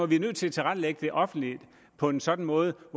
vi er nødt til at tilrettelægge det offentlige på en sådan måde